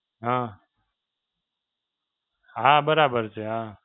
હાં, હાં બરાબર છે હાં.